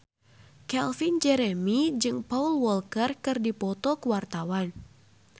Calvin Jeremy jeung Paul Walker keur dipoto ku wartawan